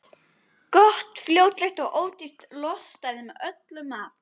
Gott, fljótlegt og ódýrt lostæti með öllum mat.